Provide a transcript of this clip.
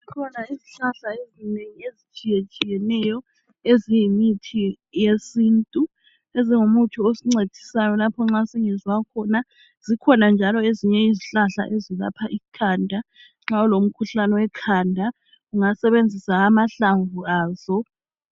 Kukhona izihlahla ezinengi ezitshiyetshiyeneyo eziyimithi yesintu. Ezingumuthi osincedisayo lapho nxa singezwa kuhle khona. Zikhona njalo ezinye izihlahla eziyelapha ikhanda, nxa ulomkhuhlane wekhanda ungasebenzisa amahlamvu azo